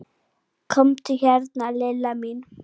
Komdu hérna Lilla mín.